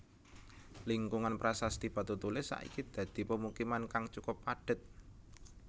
Lingkungan Prasasti Batutulis saiki dadi pemukiman kang cukup padhet